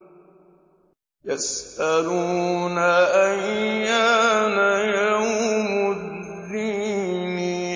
يَسْأَلُونَ أَيَّانَ يَوْمُ الدِّينِ